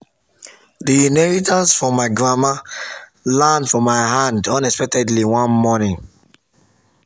the inheritance from my grandma land for my hand unexpectedly one morning.